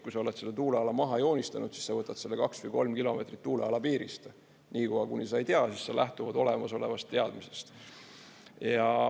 Kui sa oled selle tuuleala maha joonistanud, siis sa võtad selle kaks või kolm kilomeetrit tuuleala piirist, niikaua kuni sa ei tea, siis saad lähtuda olemasolevast teadmisest.